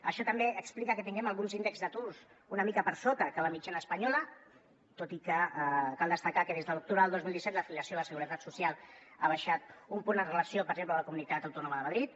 això també explica que tinguem alguns índexs d’atur una mica per sota que la mitjana espanyola tot i que cal destacar que des de l’octubre del dos mil disset l’afiliació a la seguretat social ha baixat un punt amb relació per exemple a la comunitat autònoma de madrid